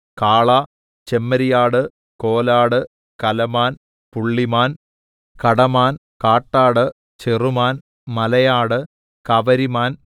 കാള ചെമ്മരിയാട് കോലാട് കലമാൻ പുള്ളിമാൻ കടമാൻ കാട്ടാട് ചെറുമാൻ മലയാട് കവരിമാൻ